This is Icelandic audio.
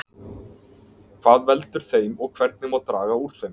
Hvað veldur þeim og hvernig má draga úr þeim?